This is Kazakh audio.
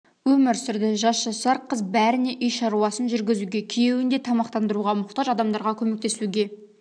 өмір сүрді жас жасар қыз бәріне үй шаруасын жүргізуге күйеуін де тамақтандыруға мұқтаж адамдарға көмектесуге